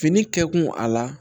Fini kɛ kun a la